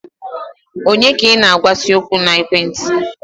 Onye ka ị na-agwa si okwu na ekwenti?